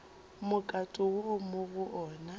mokato wo mo go ona